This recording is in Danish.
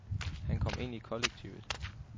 Han kom ind i kollektivet.